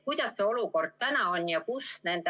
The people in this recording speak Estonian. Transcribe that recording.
Kuidas see olukord täna on?